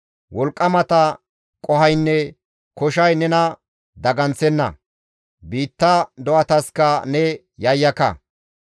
Wolqqamata qohoynne koshay nena daganththenna; biitta do7ataska ne yayyaka.